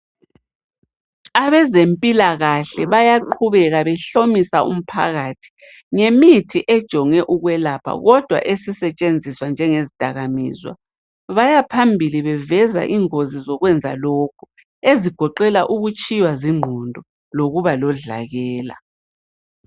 Abezempilakahle bayaqhubeka behlomisa umphakathi ngemithi ejonge ukwelapha kodwa esisetshenziswa njengezidakamizwa. Bayaphambili beveza ingozi zokwenza lokhu ezigoqela ukutshiywa zingqondo lokuba lodlakela.